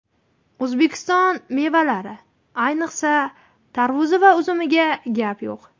O‘zbekiston mevalari, ayniqsa, tarvuz va uzumiga gap yo‘q!